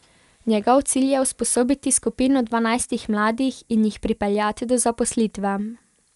Njegov cilj je usposobiti skupino dvanajstih mladih in jih pripeljati do zaposlitve.